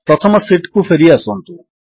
ପ୍ରଥମ ଶୀଟ୍ କୁ ଫେରିଆସନ୍ତୁ